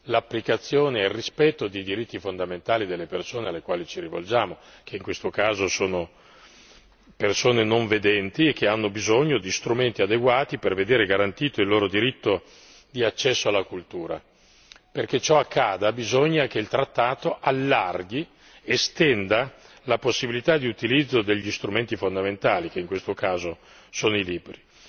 l'applicazione e il rispetto dei diritti fondamentali delle persone alle quali ci rivolgiamo, che in questo caso sono persone non vedenti e che hanno bisogno di strumenti adeguati perché sia garantito il loro diritto di accesso alla cultura. Perché ciò accada bisogna che il trattato allarghi, estenda la possibilità di utilizzo degli strumenti fondamentali che in questo caso sono i libri.